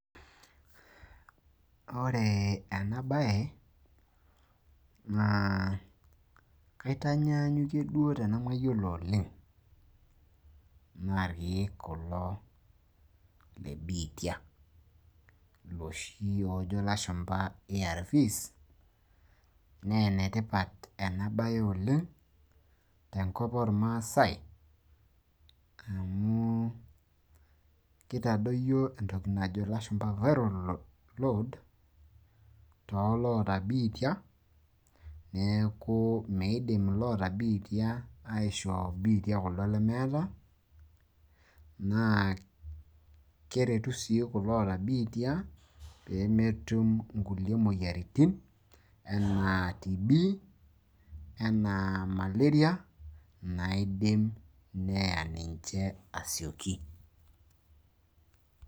Ore ena baye naa kaitaanyaanyukie duo tenemayiolo oleng, naa ilkiek kulo le biitia iloshi oojo ilashumpa ARVs. Naa enetipat ena siai oleng tenkop oo ilmaasae amu kitadoyio entoki najo ilashumpa viral load too loata biitia. Niaku meidim iloota biitia aishoo biitia kuldo lemeet. Keretu sii kulo oata biitia pee metum imoyiaritin enaa TB enaa Malarai naidim neya ninche asioki.